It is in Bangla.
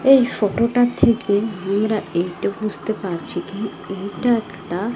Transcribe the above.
এই ফটো -টা থেকে আমরা এইটা বুঝতে পারছি কী এইটা একটা--